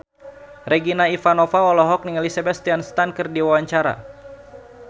Regina Ivanova olohok ningali Sebastian Stan keur diwawancara